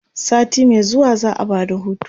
sati Mai zuwa za'a Bada hutu